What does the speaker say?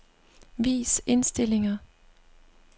Vis indstillinger.